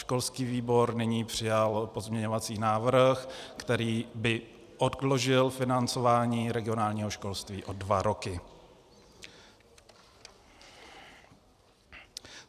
Školský výbor nyní přijal pozměňovací návrh, který by odložil financování regionálního školství o dva roky.